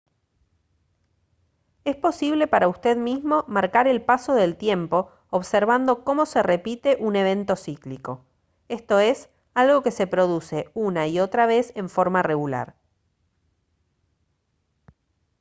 es posible para usted mismo marcar el paso del tiempo observando cómo se repite un evento cíclico esto es algo que se produce una y otra vez en forma regular